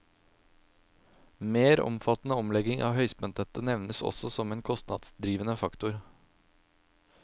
Mer omfattende omlegging av høyspentnettet nevnes også som en kostnadsdrivende faktor.